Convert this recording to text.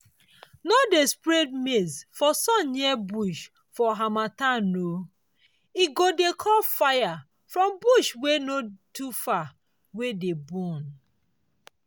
no dey spread maize for sun near bush for harmattan o—e go dey call fire from bush wey no too far wey dey burn.